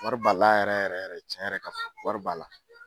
Wari b'a la yɛrɛ yɛrɛ den, tiɲɛn ka fɔ, wari b'a la